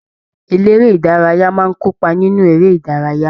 Eléré ìdárayá máa n kópa nínú eré ìdárayá.